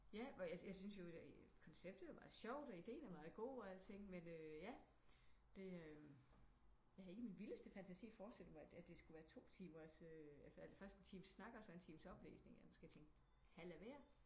Ja hvor jeg syntes jo koncepetet var sjovt og ideen er meget god og alting men øh ja det øh jeg havde ikke i min vildeste fantasi forestillet mig det skulle være to timers øh eller først en times snak og så en times oplæsning eller nu skal jeg tænkt halv af hver